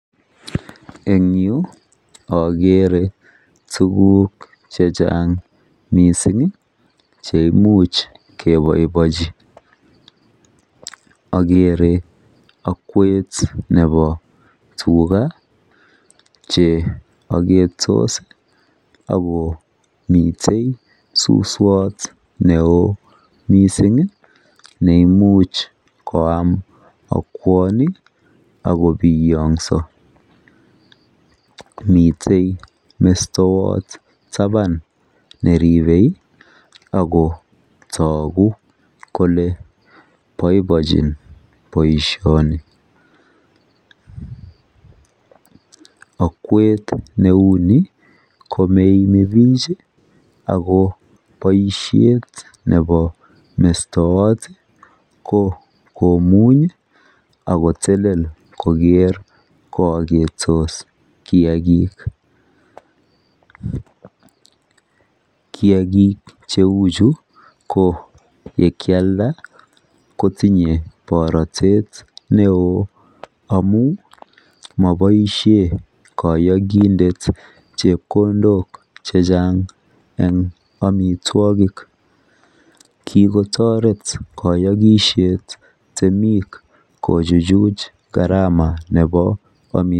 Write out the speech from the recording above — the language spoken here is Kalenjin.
En yuu okere tukuk chechang missing cheimuch keboibochi okere okwet nebo tugaa che oketos ak komiten suswot neo missingi neimuch koam okwoni ak kobiyokso. Miten mestowot taban neribe ak kotoku kole boiboechin boishoni, okwet neuni komo imebik Ako boishet nebo mestowot ko komunyi ak kotelel kokere ko oketos kiyagik. Kiyagik cheu chu yekialda kotinye borotet neo amun moboishe koyokindet chepkondok chechang en omitwokik, kikotoret koyokishet temik kochuchuch karama nebo omitwokik.